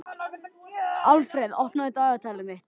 Alfreð, opnaðu dagatalið mitt.